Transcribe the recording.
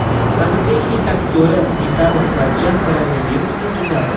Taniqli hind aktyori Amitabh Bachchan koronavirusdan tuzaldi.